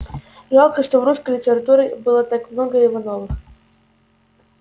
жалко что в русской литературе было так много ивановых